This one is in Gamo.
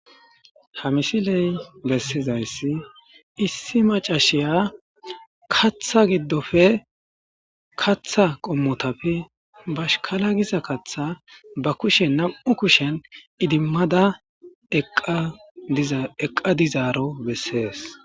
Ha misiley bessizayssi issi macashiya katha giddofe katha qommotafe bashkala giza katha ba kushen nam'u kushen idimmada eqqa dizaaro bessees.